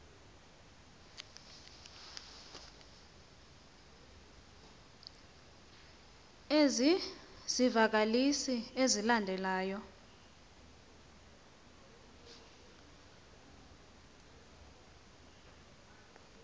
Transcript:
ezi zivakalisi zilandelayo